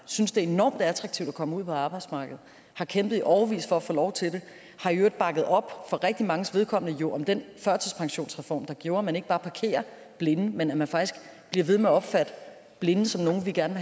synes det er enormt attraktivt at komme ud på arbejdsmarkedet har kæmpet i årevis for at få lov til det har i øvrigt bakket op for rigtig manges vedkommende om den førtidspensionsreform der gjorde at man ikke bare parkerer blinde men at man faktisk bliver ved med at opfatte blinde som nogle vi gerne